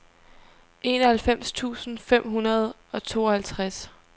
enoghalvfems tusind fem hundrede og tooghalvtreds